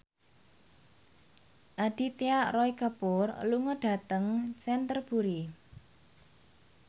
Aditya Roy Kapoor lunga dhateng Canterbury